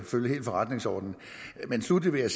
følge forretningsordenen men sluttelig